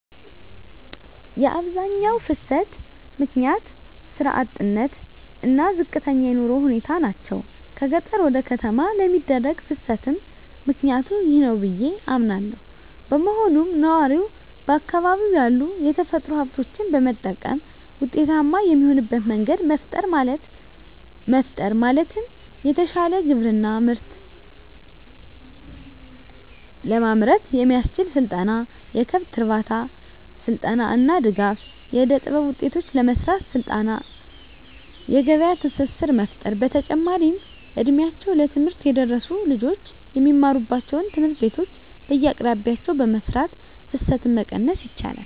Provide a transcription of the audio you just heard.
የአብዛኛው ፍልሰት ምክንያት ስራ አጥነት እና ዝቅተኛ የኑሮ ሁኔታ ናቸው። ከገጠር ወደ ከተማ ለሚደረግ ፍልስትም ምክኒያቱ ይህ ነው ብዬ አምናለው። በመሆኑም ነዋሪው በአካባቢው ያሉ የተፈጥሮ ሀብቶችን በመጠቀም ውጤታማ የሚሆንበት መንገድ መፍጠር ማለትም የተሻለ ግብርና ምርት ለማምረት የሚያስችል ስልጠና፣ የከብት እርባታ ስልጠና እና ድጋፍ. ፣ የእደጥበብ ውጤቶችን ለመሰራት ስልጠና የገበያ ትስስር መፍጠር። በተጨማሪም እ ድሜያቸው ለትምህርት የደረሱ ልጆች የሚማሩባቸውን ትምህርት ቤቶች በየአቅራቢያቸው በመስራት ፍልሰትን መቀነስ ይቻላል።